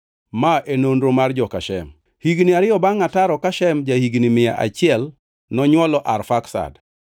Ma e nonro mar joka Shem. Higni ariyo bangʼ ataro ka Shem ja-higni mia achiel nonywolo Arfaksad.